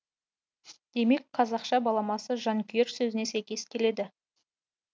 демек қазақша баламасы жанкүйер сөзіне сәйкес келеді